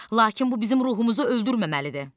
Lakin bu bizim ruhumuzu öldürməməlidir.